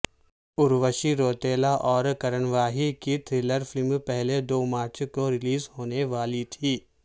اروشی روتیلا اور کرن واہی کی تھرلرفلم پہلے دو مارچ کو ریلیز ہونے والی تھی